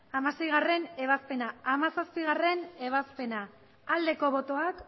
hamaseigarrena ebazpena hamazazpigarrena ebazpena aldeko botoak